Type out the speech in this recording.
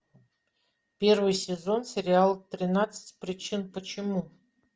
первый сезон сериал тринадцать причин почему